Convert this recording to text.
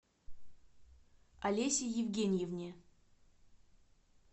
олесе евгеньевне